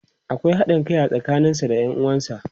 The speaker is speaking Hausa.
akwai haɗin Kai a tsakanin sa da Yan uwansa.